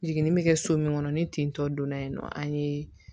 Jiginni bɛ kɛ so min kɔnɔ ni ten tɔ don na yen nɔ an ye